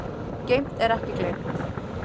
Geymt er ekki gleymt